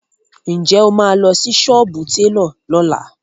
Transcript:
Ǹjẹ́ o máa lọ sí sọ́ọ́bù télọ̀ lọ́la?